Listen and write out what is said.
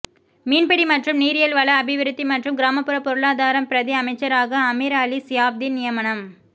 மீன்பிடி மற்றும் நீரியல் வள அபிவிருத்தி மற்றும் கிராமப்புற பொருளாதாரம் பிரதி அமைச்சராக அமீர் அலி சியாப்தீன் நியமனம்